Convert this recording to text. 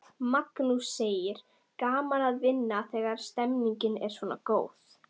Magnús: Gaman að vinna þegar stemningin er svona góð?